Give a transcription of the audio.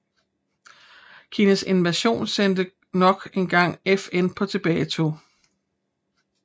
Kinas invasion sendte nok engang FN på tilbagetog